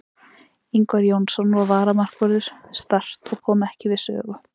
Ingvar Jónsson var varamarkvörður Start og kom ekki við sögu.